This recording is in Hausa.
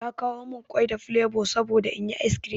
Ta kawo min ƙwai da flevo saboda inyi ice cream.